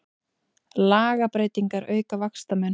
Lagabreytingar auka vaxtamun